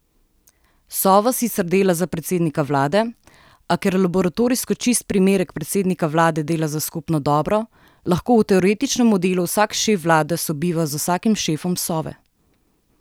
Sova sicer dela za predsednika vlade, a ker laboratorijsko čist primerek predsednika vlade dela za skupno dobro, lahko v teoretičnem modelu vsak šef vlade sobiva z vsakim šefom Sove.